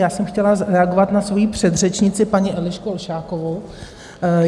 Já jsem chtěla reagovat na svoji předřečnici, paní Elišku Olšákovou.